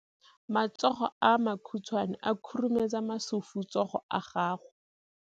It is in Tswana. Matsogo a makhutshwane a khurumetsa masufutsogo a gago.